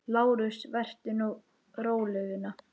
LÁRUS: Vertu nú róleg, vina.